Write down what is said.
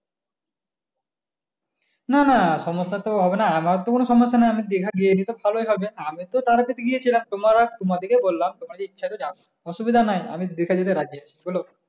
না না সমস্যা তো হবে না আমার তো কোনো সমস্যা নেই আমি দিঘা গিয়েছি তো ভালোই হবে আমি তো তার আগে গিয়েছিলাম তোমার তোমাদের কে বললাম তোমার যদি ইচ্ছাতে যাবো, অদুবিধা নাই আমি দিঘা যেতে রাজি আছি চলো।